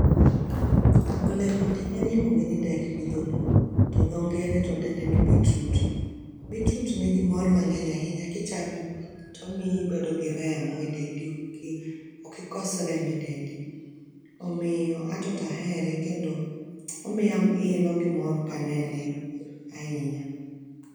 Olemoni en iluonge ni dek gi dholuo, to dho ngere to dende ni beetroot. Beetroot nigi mor mang'eny ahinya kichame to omiyi ibedo gi remo e dendi ok i ok ikos remo e dendi. Omiyo ato to ahere kendo omiya ilo gi mor ka anene ahinya.